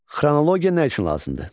Xronologiya nə üçün lazımdır?